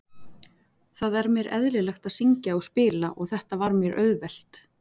Það er mér eðlilegt að syngja og spila og þetta var mér auðvelt.